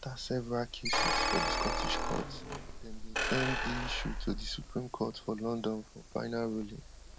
afta several cases for di scottish courts dem bin send di issue to di supreme court for london for final ruling